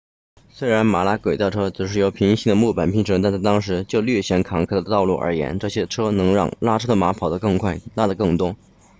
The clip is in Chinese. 虽然马拉轨道车只是由平行的木板拼成但在当时就略显坎坷的道路而言这些车能让拉车的马跑得更快拉得更多